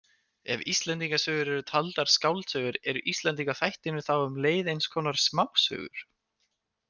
Ef Íslendingasögur eru taldar skáldsögur eru Íslendingaþættirnir þá um leið eins konar smásögur.